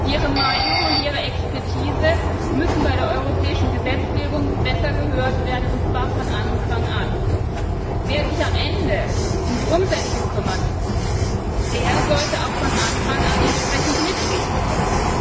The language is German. Ihre Meinung und ihre Expertise müssen bei der europäischen Gesetzgebung besser gehört werden, und zwar von Anfang an. Wer sich am Ende um die Umsetzung kümmern muss, der sollte auch von Anfang an entsprechend mitreden können!